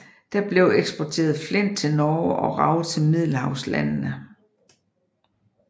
Der blev eksporteret flint til Norge og rav til middelhavslandene